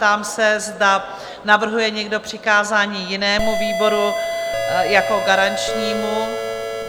Ptám se, zda navrhuje někdo přikázání jinému výboru jako garančnímu?